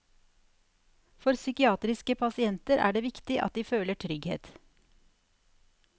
For psykiatriske pasienter er det viktig at de føler trygghet.